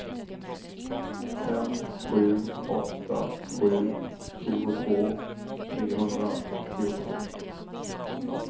fem sju åtta sju tjugotvå trehundraåttiotvå